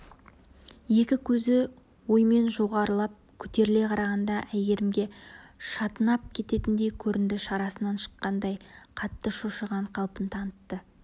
екі көзі оймен жоғарылап көтеріле қарағанда әйгерімге шатынап кететіндей көрінді шарасынан шыққандай қатты шошыған қалпын танытты